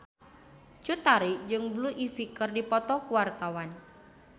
Cut Tari jeung Blue Ivy keur dipoto ku wartawan